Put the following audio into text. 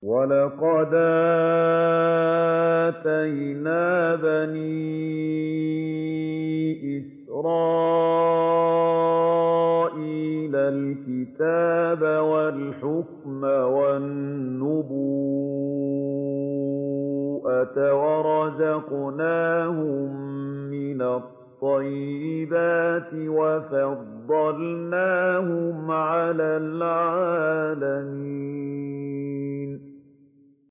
وَلَقَدْ آتَيْنَا بَنِي إِسْرَائِيلَ الْكِتَابَ وَالْحُكْمَ وَالنُّبُوَّةَ وَرَزَقْنَاهُم مِّنَ الطَّيِّبَاتِ وَفَضَّلْنَاهُمْ عَلَى الْعَالَمِينَ